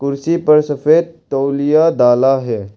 कुर्सी पर सफेद तोलिया डाला है।